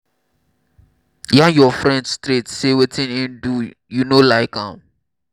yarn your friend straight sey wetin im do you no like am